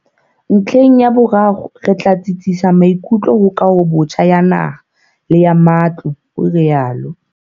"Ntlheng ya boraro, re tla tsitsisa maikutlo ho kahobotjha ya naha le ya matlo", o rialo.